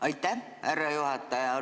Aitäh, härra juhataja!